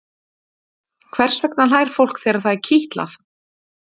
hvers vegna hlær fólk þegar það er kitlað